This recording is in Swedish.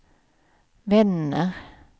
vänner